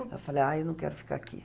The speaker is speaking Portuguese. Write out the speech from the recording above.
Eu falei, ah, eu não quero ficar aqui.